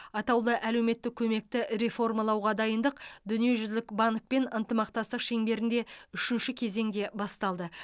атаулы әлеуметтік көмекті реформалауға дайындық дүниежүзілік банкпен ынтымақтастық шеңберінде үшінші кезеңде басталды